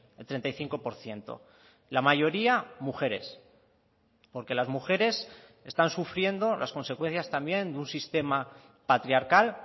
el treinta y cinco por ciento la mayoría mujeres porque las mujeres están sufriendo las consecuencias también de un sistema patriarcal